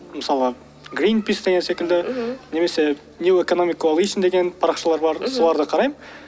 мысалы гринпис деген секілді мхм немесе ньюэкономикаллэйшн деген парақшалар бар соларды қараймын